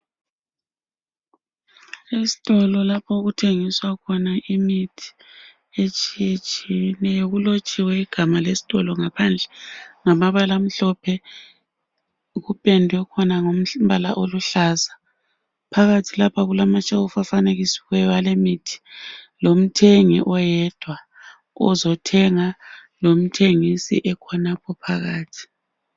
Estolo lapho okuthengiswa khona imithi etshiyetshiyeneyo. Kulotshiwe igama lesitolo ngaphandle ngamabala amhlophe. kuphendwe khona ngombala aluhlaza. Phakathi kulamashelu afanekisiweyo alemithi lomthengi oyedwa ozethenga, lothengisi ekhonapho phakathi.